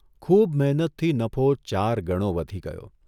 ખૂબ મહેનતથી નફો ચાર ગણો વધી ગયો.